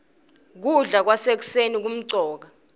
kudla kwasekuseni kumcoka